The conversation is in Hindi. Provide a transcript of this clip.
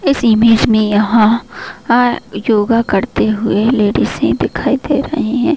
इस इमेज में यहाँ योगा करते हुए लेडिसे दिखाई दे रही हैं।